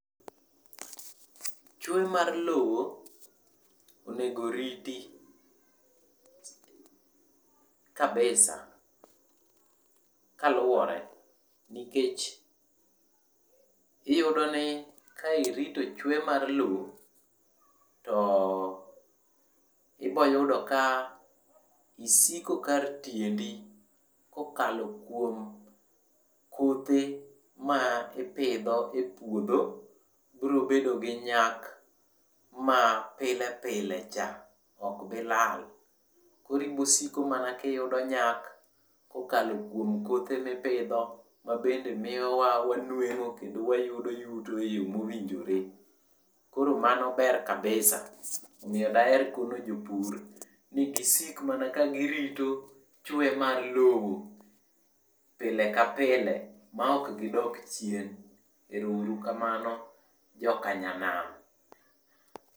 chwe mar lowo onego riti kabisa kaluwore nikech iyudo ni ka irito chwe mar lowo to ibo yudo ka isiko kar tiendi kokalo kuom kothe ma ipidho e puodho bro bedo gi nyak mapilepile cha ok bi lal, koro ibosiko mana ka iyudo nyak kokalo kuom kothe mipidho ma bende miyowa wanwengo kendo wayudo yuto e yo mowinjore, koro mano ber kabisa omiyo daher kono jopur ni gisik mana ka girito chwe mar lowo pile ka pile ma ok gidok chien, ero uru kamano joka nyanam